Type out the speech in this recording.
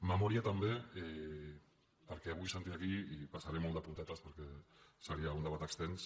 memòria també perquè avui sentia aquí i hi passaré molt de puntetes perquè seria un debat extens